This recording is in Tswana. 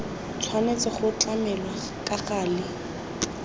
tshwanetse go tlamelwa ka gale